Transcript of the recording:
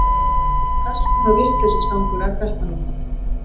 Hvers konar vitleysisgangur er þetta nú?